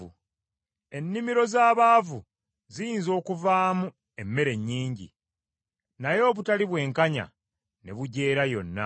Ennimiro z’abaavu ziyinza okuvaamu emmere nnyingi, naye obutali bwenkanya ne bugyera yonna.